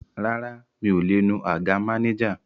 Rárá, mi ò lè nu àga mánéjà